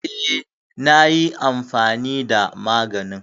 Eh na yi amfani da maganin.